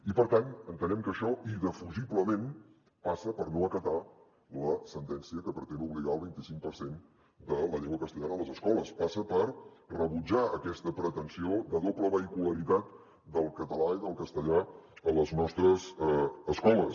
i per tant entenem que això indefugiblement passa per no acatar la sentència que pretén obligar al vint i cinc per cent de la llengua castellana a les escoles passa per rebutjar aquesta pretensió de doble vehicularitat del català i del castellà a les nostres escoles